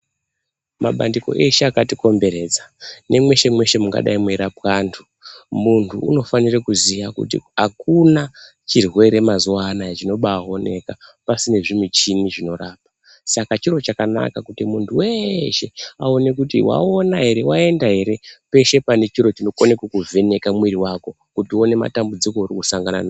Mabandiko eshe akatikomberedza nemweshe mweshe mungadai meirapwa antu, muntu unofanire kuziye kuti akuna chirwere mazuwa anaya chinobaaoneka pasina zvimuchini zvinorapa. Saka ,chiro chakanaka kuti muntu weshe aone kuti waona ere, waenda ere peshe pane chiro chinokone kuvheneka miri wako kuti uone matambudziko euri kusangana nawo.